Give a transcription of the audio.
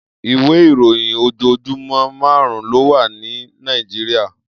Iwé iróyin ójójúmò màrún lówà ni Nàijiriá